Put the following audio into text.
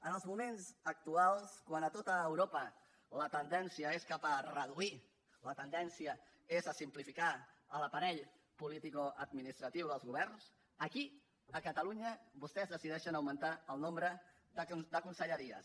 en els moments actuals quan a tot europa la tendència és cap a reduir la tendència és a simplificar l’aparell politicoadministratiu dels governs aquí a catalunya vostès decideixen augmentar el nombre de conselleries